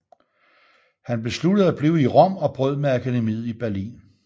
Han besluttede at blive i Rom og brød med akademiet i Berlin